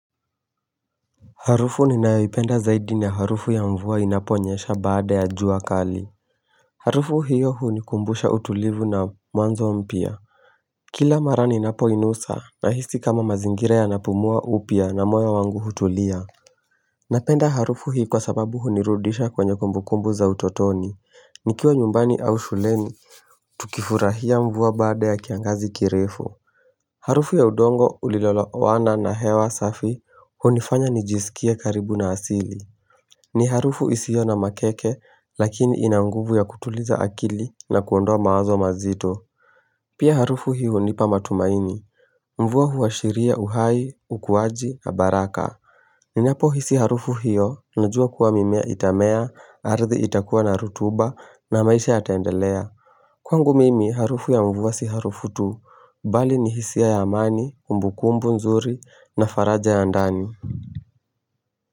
Harufu ninayoipenda zaidi ni harufu ya mvua inaponyesha baada ya jua kali Harufu hiyo hunikumbusha utulivu na mwanzo mpya Kila mara ninapo inusa nahisi kama mazingira yanapumua upya na moyo wangu hutulia Napenda harufu hii kwa sababu hunirudisha kwenye kumbukumbu za utotoni nikiwa nyumbani au shuleni Tukifurahia mvua baada ya kiangazi kirefu Harufu ya udongo ulio lowana na hewa safi hunifanya nijisikie karibu na asili ni harufu isiyo na makeke, lakini inanguvu ya kutuliza akili na kuondoa mawazo mazito. Pia harufu hiyo hunipa matumaini Mvua huashiria uhai, ukuwaji, na baraka Ninapo hisi harufu hiyo, najua kuwa mimea itamea, ardhi itakuwa na rutuba, na maisha yataendelea. Kwangu mimi, harufu ya mvua si harufu tu, bali ni hisia ya amani, kumbukumbu nzuri, na faraja ya ndani.